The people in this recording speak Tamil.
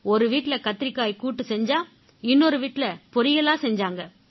ஒரு வீட்டுல கத்திரிக்காய் கூட்டு செஞ்சா இன்னொரு வீட்டுல பொறியலா செஞ்சாங்க